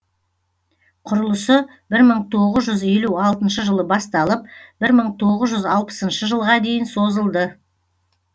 құрылысы бір мың тоғыз жүз елу алтыншы жылы басталып бір мың тоғыз жүз алпысыншы жылға дейін созылды